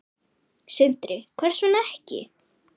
Sindri: Hvers vegna ekki?